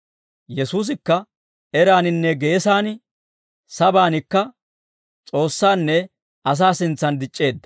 Yesuusikka eraaninne geesan, sabaanikka S'oossaanne asaa sintsan dic'c'eedda.